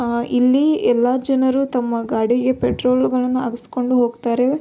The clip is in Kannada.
ಆಹ್ಹ್ ಇಲ್ಲಿ ಎಲ್ಲ ಜನರು ತಮ್ಮ ಗಾಡಿಗೆ ಪೆಟ್ರೋಲುಗಳನ್ನು ಹಾಕಿಸ್ಕೊಂಡು ಹೋಗ್ತಾರೆ.